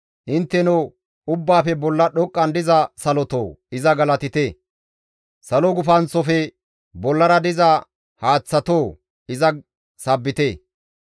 Intteno ubbaafe bolla dhoqqan diza salotoo! Iza galatite; Salo gufanththofe bollara diza haaththatoo! Iza sabbite.